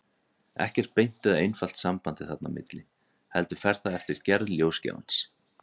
Ekkert beint eða einfalt samband er þarna á milli, heldur fer það eftir gerð ljósgjafans.